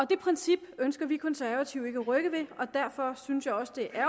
det princip ønsker vi konservative ikke at rykke ved og derfor synes jeg også det er